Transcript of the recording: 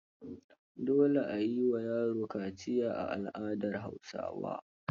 Dole a yi wa yaro kaciya a al'adar Hausawa.